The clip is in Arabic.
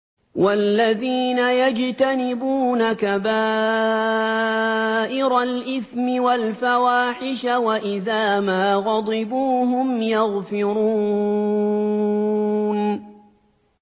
وَالَّذِينَ يَجْتَنِبُونَ كَبَائِرَ الْإِثْمِ وَالْفَوَاحِشَ وَإِذَا مَا غَضِبُوا هُمْ يَغْفِرُونَ